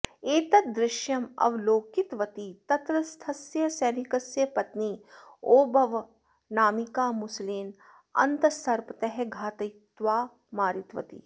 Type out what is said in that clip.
एतत् दृश्यम् अवलोकितवती तत्रस्थस्य सैनिकस्य पत्नी ओबव्वनामिका मुसलेन अन्तस्सर्पतः घातयित्वा मारितवती